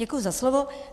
Děkuji za slovo.